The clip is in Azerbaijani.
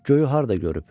Göyü harda görüb?